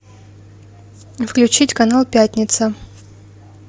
включить канал пятница